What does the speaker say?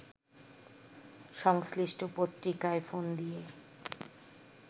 সংশ্লিষ্ট পত্রিকায় ফোন দিয়ে